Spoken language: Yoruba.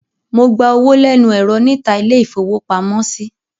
Mo gba owó lẹ́nu ẹ̀rọ níta ilé-ìfowópamọ́sí.